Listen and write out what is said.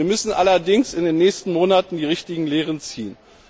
Wir müssen allerdings in den nächsten Monaten die richtigen Lehren ziehen.